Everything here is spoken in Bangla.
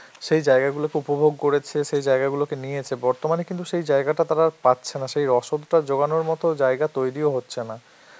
সেই জায়গাগুলো খুব উপভোগ করেছে, সেই জায়গা গুলোকে নিয়েছে, বর্তমানে কিন্তু সেই জায়গাটা তারা পাচ্ছে না, সেই রসদ যোগানোর মতন জায়গা তৈরিও হচ্ছে না.